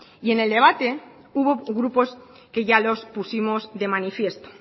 y en el debate hubo grupos que ya los pusimos de manifiesto